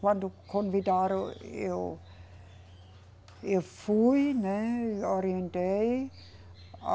Quando convidaram eu, eu fui, né, orientei.